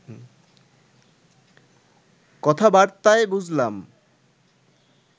কথাবার্তায় বুঝলাম